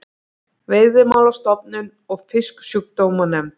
Veiðimálastofnun og Fisksjúkdómanefnd.